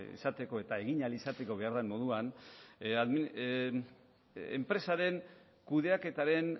izateko eta egin ahal izateko behar den moduan enpresaren kudeaketaren